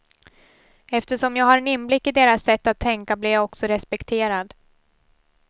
Eftersom jag har en inblick i deras sätt att tänka blir jag också respekterad.